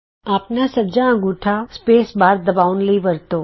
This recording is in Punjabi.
ਆਪਣਾ ਸੱਜਾ ਅੰਗੂਠਾ ਸਪੇਸ ਬਾਰ ਦਬਾਉਣ ਲਈ ਵਰਤੋ